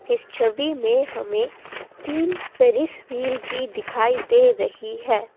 इस छवि में हमें तीन पेरिस व्हील भी दिखाई दे रही है।